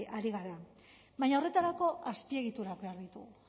ari gara baina horretarako azpiegiturak behar ditugu